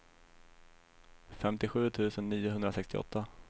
femtiosju tusen niohundrasextioåtta